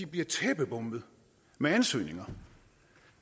bliver tæppebombet med ansøgninger